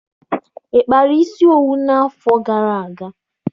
Ị kpara isi owu n'afọ gara aga?